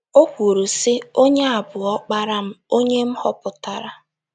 O kwuru, sị: “ Onye a bụ Ọkpara m, onye m họpụtara.